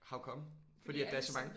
How come? Fordi at der er så mange?